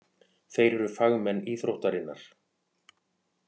Þeir eru fagmenn íþróttarinnar.